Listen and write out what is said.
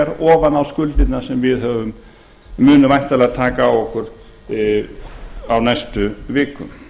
ofan á skuldirnar sem við munum væntanlega taka á okkur á næstu vikum